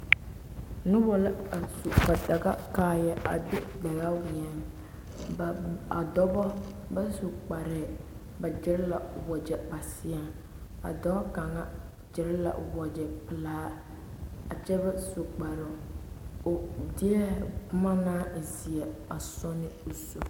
Nobɔ la a su ba daga kaayɛ a weɛŋ ba a dɔbɔ ba su kparɛɛ ba gyire la wagyɛ ba seɛŋ a dɔɔ kaŋa gyire la o wagyɛ pelaa kyɛ ba su kparoŋ o deɛɛ boma naŋ e zeɛ a sɔ ne o zu.